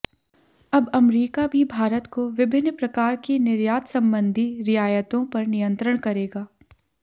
अब अमरीका भी भारत को विभिन्न प्रकार की निर्यात संबंधी रियायतों पर नियंत्रण करेगा